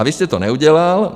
A vy jste to neudělal.